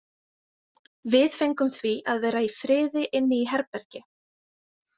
Við fengum því að vera í friði inni í herbergi.